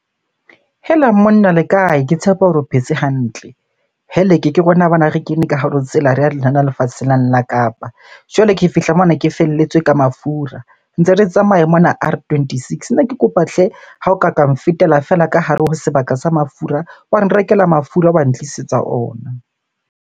Hela monna le kae? Ke tshepa hore o phetse hantle. Heleke! Ke rona bana re kene ka hare ho tsela re ya lefatshe lane la Kapa. Jwale ke fihla mona ke felletswe ka mafura. Ntse re tsamaya mona R twenty-six. Ne ke kopa hle! Ha o ka ka nfetela feela ka hare ho sebaka sa mafura, wa nrekela mafura wa ntlisetsa ona.